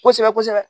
Kosɛbɛ kosɛbɛ